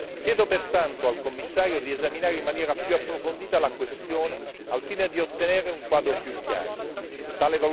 Chiedo pertanto al Commissario di esaminare in maniera più approfondita la questione al fine di ottenere un quadro più quadro.